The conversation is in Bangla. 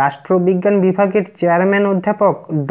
রাষ্ট্রবিজ্ঞান বিভাগের চেয়ারম্যান অধ্যাপক ড